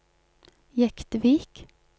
Jektvik